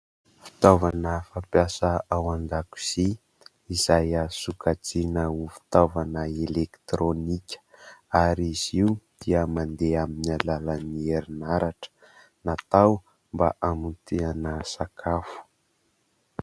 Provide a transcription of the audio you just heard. Fitaovana fampiasa ao an-dakozia izay azo sokajiana ho fitaovana elektronika ary izy io dia mandeha amin'ny alalan'ny herinaratra. Natao mba hamotehana sakafo.